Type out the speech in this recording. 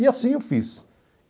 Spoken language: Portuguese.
E assim eu fiz.